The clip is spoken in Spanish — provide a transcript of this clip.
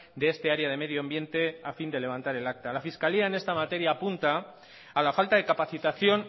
de este área de medio ambiente a fin de levantar el acta la fiscalía en esta materia apunta a la falta de capacitación